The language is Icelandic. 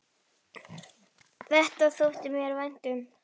Þetta þótti mér vænt um.